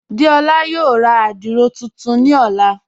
Déọla yóò rá àdírò tuntun ni ọ̀lá..